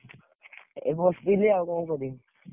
ଏଇ ବସଥିଲି ଆଉ କଣ କରିବି।